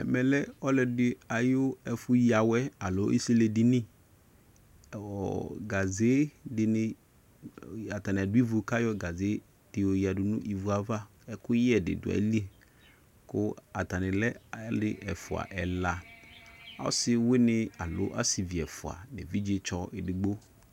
ɛmɛlɛ ɔlɔdi ɛfu ya awɛ alo isili edini nɔɔ gazedini atani adu ivuava ɛkuyɛ dini dueli ku atanilɛ alu ɛfua ɛla ɔsiwini alo asivi ɛfua evijestɔ edigbo